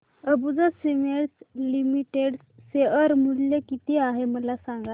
Ambuja cements limited share मूल्य किती आहे मला सांगा